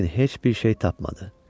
Lakin heç bir şey tapmadı.